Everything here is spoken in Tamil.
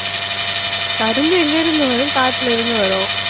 கரும்பு எங்கிருந்து வரும் காட்டுல இருந்து வரும்